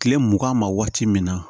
Kile mugan ma waati min na